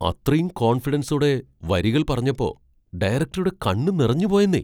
അത്രയും കോൺഫിഡൻസോടെ വരികൾ പറഞ്ഞപ്പോ ഡയറക്റ്ററുടെ കണ്ണു നിറഞ്ഞുപോയെന്നേ!